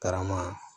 Karama